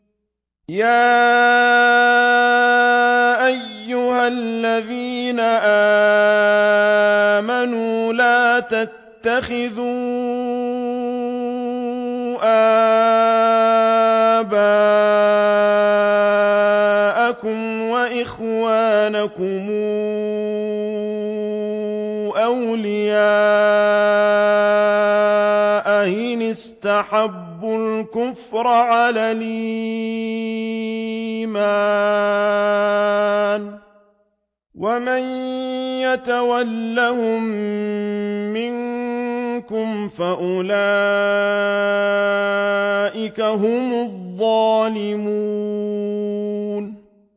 يَا أَيُّهَا الَّذِينَ آمَنُوا لَا تَتَّخِذُوا آبَاءَكُمْ وَإِخْوَانَكُمْ أَوْلِيَاءَ إِنِ اسْتَحَبُّوا الْكُفْرَ عَلَى الْإِيمَانِ ۚ وَمَن يَتَوَلَّهُم مِّنكُمْ فَأُولَٰئِكَ هُمُ الظَّالِمُونَ